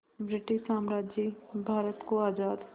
British साम्राज्य भारत को आज़ाद